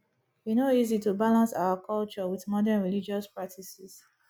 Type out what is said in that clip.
e no easy to balance our culture wit modern religious practices